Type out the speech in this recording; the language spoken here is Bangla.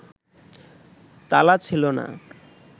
তালা ছিল না